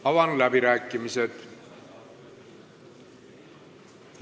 Avan läbirääkimised.